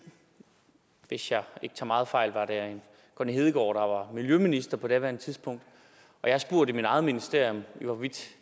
hvis jeg ikke tager meget fejl var det connie hedegaard der var miljøminister på daværende tidspunkt jeg har spurgt i mit eget ministerium